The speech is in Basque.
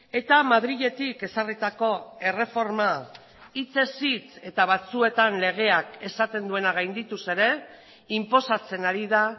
eta madriletik ezarritako erreforma hitzez hitz eta batzuetan legeak esaten duena gaindituz ere inposatzen ari da